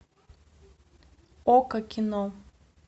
окко кино